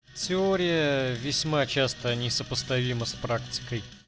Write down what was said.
теория весьма часто не сопоставима с практикой